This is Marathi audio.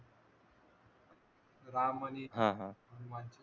राम आणि हनुमान जी